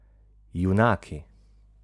Junaki?